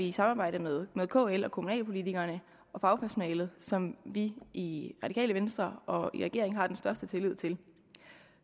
i samarbejde med kl og kommunalpolitikerne og fagpersonalet som vi i radikale venstre og i regeringen har den største tillid til